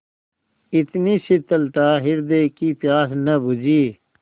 इतनी शीतलता हृदय की प्यास न बुझी